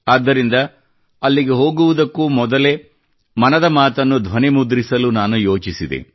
ಆದ್ದರಿಂದ ಅಲ್ಲಿಗೆ ಹೋಗುವುದಕ್ಕೂ ಮೊದಲೇ ಮನದ ಮಾತನ್ನು ಧ್ವನಿಮುದ್ರಿಸಲು ನಾನು ಯೋಚಿಸಿದೆ